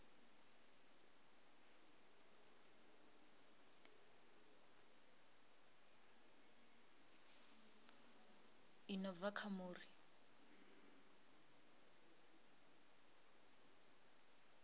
i no bva kha muri